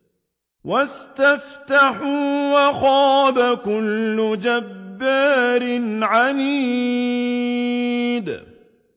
وَاسْتَفْتَحُوا وَخَابَ كُلُّ جَبَّارٍ عَنِيدٍ